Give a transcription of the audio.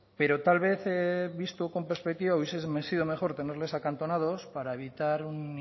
pero tal vez visto con perspectiva hubiese sido mejor tenerles acantonados para evitar un